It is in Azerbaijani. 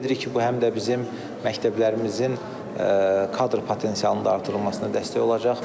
Ümid edirik ki, bu həm də bizim məktəblərimizin kadr potensialının artırılmasına dəstək olacaq.